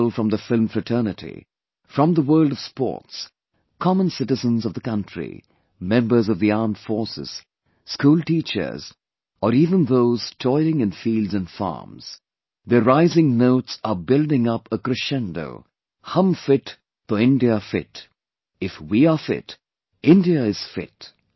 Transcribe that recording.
People from the film fraternity, from the world of Sports, common citizens of the country, members of the armed forces, school teachers or even those toiling in fields and farms, their rising notes are building up a crescendo 'Hum Fit toh India Fit'... 'If we are fit, India is fit'